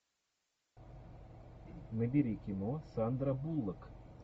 набери кино сандра буллок